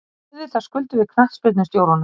Auðvitað skuldum við knattspyrnustjóranum.